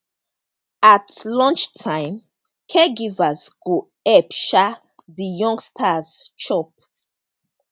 at lunchtime caregivers go help um di youngsters chop